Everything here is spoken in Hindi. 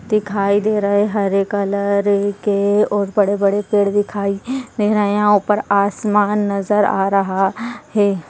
दिखाई दे रहे हरे कलर के और बड़े बड़े पेड़ दिखाई दे रहे हैं यहाँ ऊपर आसमान नजर आ रहा है।